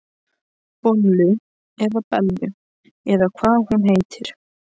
Bollu eða Bellu eða hvað hún heitir.